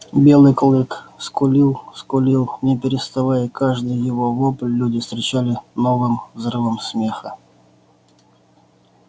белый клык скулил скулил не переставая и каждый его вопль люди встречали новым взрывом смеха